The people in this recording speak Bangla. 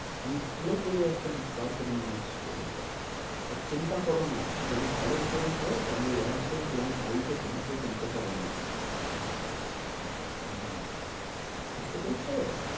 আমি ভালো করে একদম পাক করে নিয়ে আসবো এইটা। আর চিন্তা করোনা যদি ভালো করে হয়, তাহলে একদম তোমার বাড়িতে তোমাকে কিনতে হবেনা। আহ বুঝতে পেরেছো?